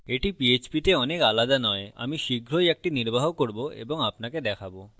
এটি PHP php তে অনেক আলাদা নয় অমি শীঘ্রই একটি নির্বাহ করব এবং আপনাকে দেখাবো